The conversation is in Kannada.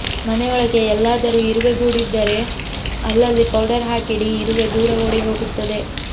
ಮನೆಯೊಳಗೆ ಎಲ್ಲಾದರೂ ಇರುವೆ ಗೂಡಿದರೆ ಅಲ್ಲಲ್ಲಿ ಪೌಡರ್ ಹಾಕಿಡಿ ಇರುವೆ ದೂರ ಓಡಿಹೋಗತ್ತೆ